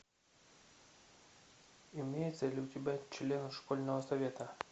имеется ли у тебя члены школьного совета